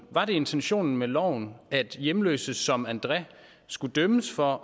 var intentionen med loven at hjemløse som andré skulle dømmes for